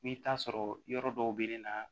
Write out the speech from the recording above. I bi taa sɔrɔ yɔrɔ dɔw be ne na